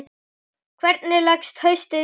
Hvernig leggst haustið í þig?